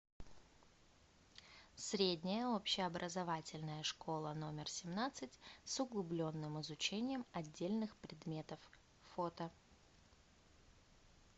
средняя общеобразовательная школа номер семнадцать с углубленным изучением отдельных предметов фото